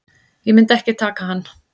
Ég myndi ekki taka hann.